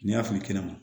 N'i y'a fili kɛnɛ